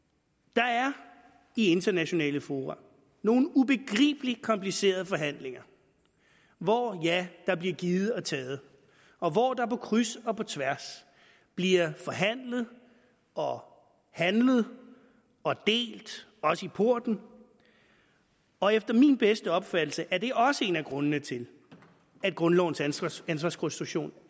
der er i internationale fora nogle ubegribelig komplicerede forhandlinger hvor der bliver givet og taget og hvor der på kryds og tværs bliver forhandlet og handlet og delt også i porten og efter min bedste opfattelse er det også en af grundene til at grundlovens ansvarskonstruktion